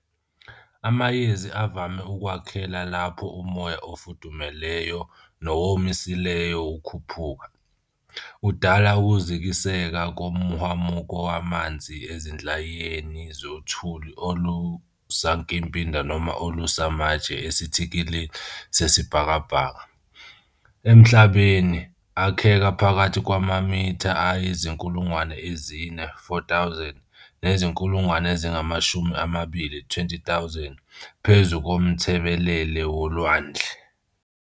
Amayezi avame ukwakheka lapho umoya ofudumeleyo, nowomisileyo ukhuphuka, udala ukuzikiseka komhwamuko wamanzi ezinhlayiyeni zothuli olusankimbi noma olusamatshe esithikilini sesibhakabhaka. Emhlabeni, akheka phakathi kwamamitha ayizinkulngwane ezine, 4,000, nezinkulungwane eziingamashumi amabili, 20,000, phezu komthebelele wolwandle.